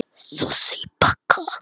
Nei segir Hult og hlær.